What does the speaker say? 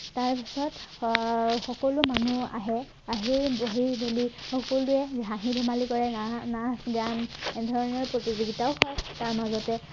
তাৰপাছত আহ সকলো মানুহ আহে আহি বহি মেলি সকলোৱে হাঁহি ধেমালি কৰে না নাচ গান এনেধৰণৰ প্ৰতিযোগিতাও হয় তাৰ মাজতে